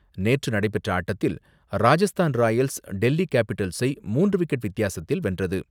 நேற்று நடைபெற்ற ஆட்டத்தில் ராஜஸ்தான் ராயல்ஸ் டெல்லி கேப்பிடல்ஸை மூன்று விக்கெட் வித்தியாசத்தில் வென்றது.